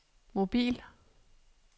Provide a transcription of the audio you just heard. mobil